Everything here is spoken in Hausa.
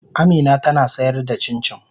Amina tana sayar da cincin.